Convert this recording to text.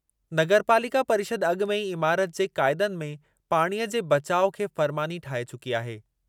नगरपालिका परिषदु अॻु में ई इमारत जे क़ाइदनि में पाणीअ जे बचाउ खे फ़रमानी ठाहे चुकी आहे।